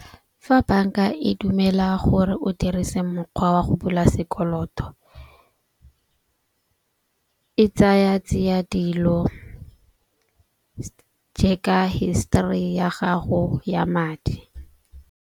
Fa banka e dumela gore o dirise mokgwa wa go bula sekoloto, e tsaya tsia dilo histori ya gago ya madi.